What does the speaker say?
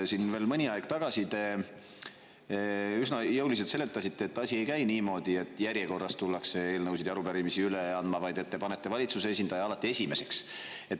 Siin veel mõni aeg tagasi te üsna jõuliselt seletasite, et asi ei käi niimoodi, et järjekorras tullakse eelnõusid ja arupärimisi üle andma, vaid te panete valitsuse esindaja alati esimeseks.